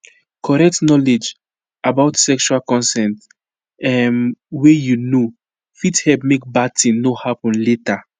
correct knowledge about sexual consent um way you know fit help make bad thing no happen later